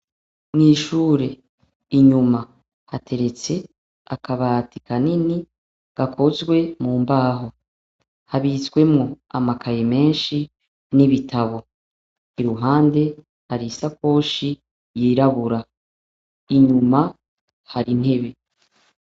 Mw’ishure inyuma hateretse akabati kanini gakozwe mu mbaho. Habitsemwo amakaye menshi n’ibitabo. Iruhande hari isakoshi y’irabura. Inyuma hari intebe.